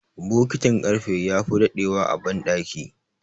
bokitin karfe ya fi dadewa a bandaki